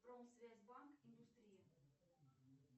промсвязьбанк индустрия